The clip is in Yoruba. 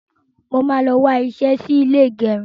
Mo máa lọ wá iṣẹ́ sí ilé ìgẹrun.